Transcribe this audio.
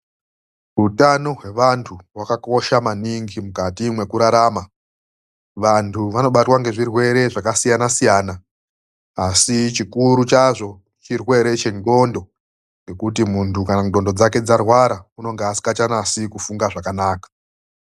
UTANO WEVANTU WAKAKOSHA MANINGI MUKATI MWEKURARAMA. VANTU VANOBATWA NGEZVIRWERE ZVAKASIYANA SIYANA, ASI CHIKURU CHAZVO CHIRWERE CHEN'ONTO, NGEKUTI MUNHTU KANA N'ONTO DZAKE DZARWARA, UNONGA ASINGACHANASI KUFUNGA ZVAKANAKA.